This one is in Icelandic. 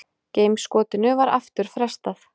Geimskotinu var aftur frestað